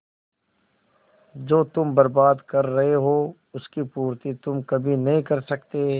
जो तुम बर्बाद कर रहे हो उसकी पूर्ति तुम कभी नहीं कर सकते